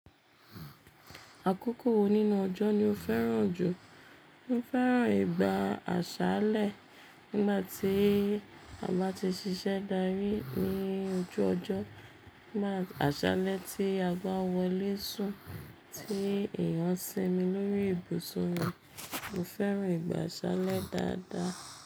Àkókò wo nínú ọjọ́ ni o fẹ́ràn jù? Mo fẹ́ràn ìgbà àṣálẹ́. Nígbà tí a bá ti ṣiṣẹ́ dárí ní ojú ọjọ́, nígbà àṣálẹ́ tí a bá wọlé sún, tí èèyàn ń sinmi lórí ibùsùn rẹ̀. Mo fẹ́ràn ìgbà àṣálẹ́ dáadáa.